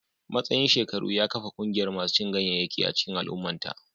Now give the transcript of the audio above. Matsayin shekaru ya kafa ƙungiyar masu cin ganyayyaki a cikin al'ummata